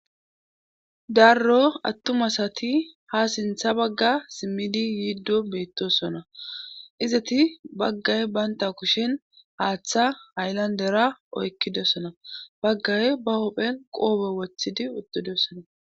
Darro attumasati ha sintha bagga simmidi yiiddo beettosona izati baggay baynta kushen haaththa haylandera oykkidessona baggay ba hopphen qoobe wothidi uddudessona.